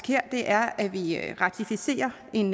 her er at vi ratificerer en